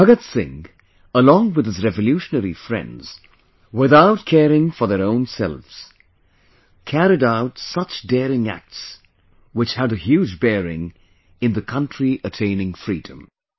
Bhagat Singh along with his revolutionary friends, without caring for their own selves, carried out such daring acts, which had a huge bearing in the country attaining Freedom